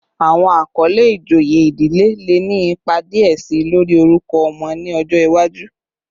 Awọn akọle ijoye idile le ni ipa diẹ si lori orukọ ọmọ ni ọjọ iwaju